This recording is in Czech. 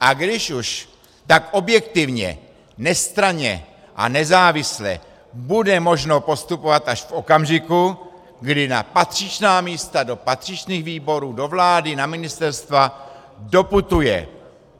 A když už, tak objektivně, nestranně a nezávisle bude možno postupovat až v okamžiku, kdy na patřičná místa, do patřičných výborů, do vlády, na ministerstva doputuje